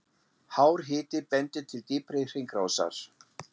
Hár hiti bendir til dýpri hringrásar.